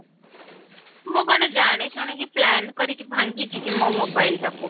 ମୁଁ କଣ ଜାଣି ଶୁଣି କି plan କରିକି ଭାଙ୍ଗିଛି କି ମୋ mobile ଟାକୁ